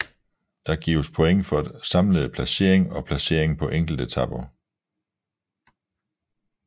Der gives point for samlede placering og placering på enkeltetaper